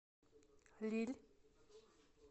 лилль